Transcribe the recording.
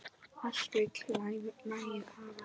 Allt vill lagið hafa.